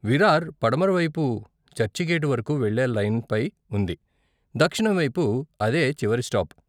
విరార్ పడమర వైపు చర్చిగేటు వరకు వెళ్ళే లైన్పై ఉంది, దక్షిణం వైపు అదే చివరి స్టాప్.